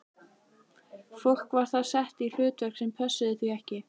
Fólk var þar sett í hlutverk sem pössuðu því ekki.